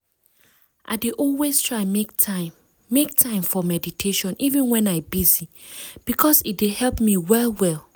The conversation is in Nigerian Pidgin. i dey always try make time make time for meditation even wen i busy because e dey help me well well.